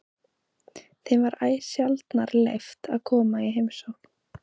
Þeim var æ sjaldnar leyft að koma í heimsókn.